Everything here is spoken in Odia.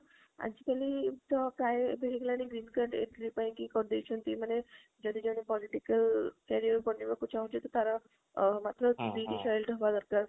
ଆଜି କଲି ପ୍ରାଯ ଏବେ ହେଲାଣି green card entry ପାଇଁକି କରି ଦେଇଛନ୍ତି ମାନେ ଯଦି କିଏ political career ବନେଇବାକୁ ଚାହୁଁଛି ତ ତାର ମାତ୍ର ଟା ଦରକାର